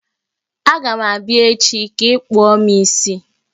Aga m abịa echi ka ịkpụọ m isi!